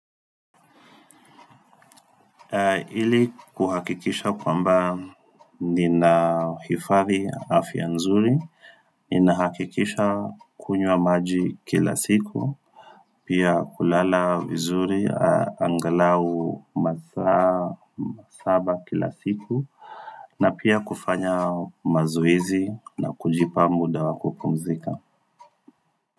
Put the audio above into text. Ili kuhakikisha kwamba nina hifari afya nzuri, ninahakikisha kunywa maji kila siku, pia kulala vizuri, angalau masaa saba kila siku, na pia kufanya mazoezi na kujipa muda wa kupumzika.